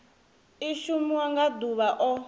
i shumiwa nga ḓuvha o